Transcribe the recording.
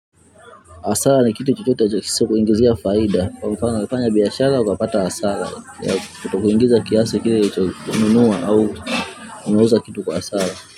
Hasara ni kitu chochote kisichokuingizia faida. Kwa mfano umefanya biashara, ukapata hasara. Kutokuingiza kiasa kile ulichonunua au unauza kitu kwa hasara.